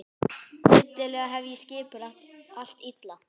Hryllilega hef ég skipulagt allt illa.